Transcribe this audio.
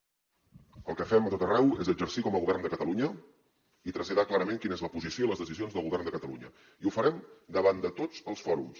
el que fem a tot arreu és exercir com a govern de catalunya i traslladar clarament quina és la posició i les decisions del govern de catalunya i ho farem davant de tots els fòrums